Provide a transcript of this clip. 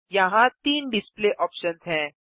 यहाँ तीन display options हैं